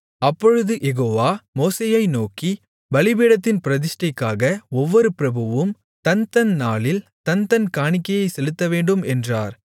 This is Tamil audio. அப்பொழுது யெகோவா மோசேயை நோக்கி பலிபீடத்தின் பிரதிஷ்டைக்காக ஒவ்வொரு பிரபுவும் தன்தன் நாளில் தன்தன் காணிக்கையைச் செலுத்தவேண்டும் என்றார்